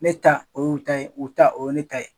Ne ta o yu ta ye u ta o ye ne ta ye.